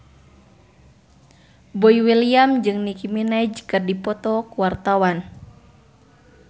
Boy William jeung Nicky Minaj keur dipoto ku wartawan